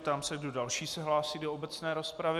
Ptám se, kdo další se hlásí do obecné rozpravy.